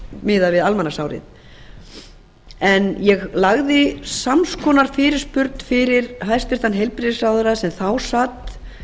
miðað við almanaksárið ég lagði sams konar fyrirspurn fyrir hæstvirtan heilbrigðisráðherra sem þá sat